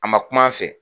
A ma kum'a fɛ